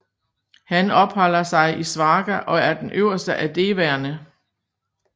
Han opholder sig i Svarga og er den øverste af devaerne